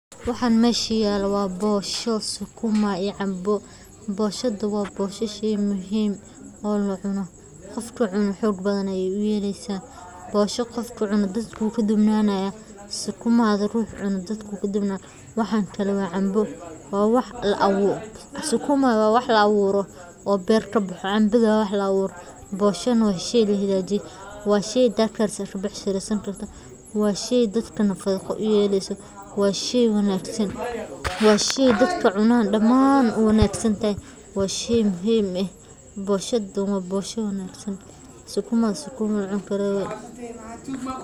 Waxan mesha yalo waa bosho sukuumaa iyo canbo. Canbo isna waa geed miro leh oo laga helo dhulalka kulaylaha, wuxuuna caan ku yahay miro macaan iyo hoos u fiican oo lagu nasto xilliga qoraxda kulushahay. Saddexda geedba waxay door muhiim ah ka ciyaaraan nolosha.